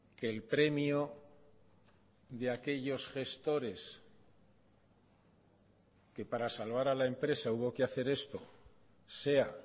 que el premio de aquellos gestores que para salvar a la empresa hubo que hacer esto sea